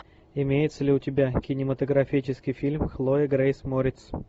имеется ли у тебя кинематографический фильм хлоя грейс мориц